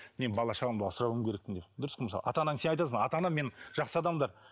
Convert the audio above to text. мен бала шағамды асырауым керекпін деп дұрыс қой мысалы ата анаң сен айтасың ата анам менің жақсы адамдар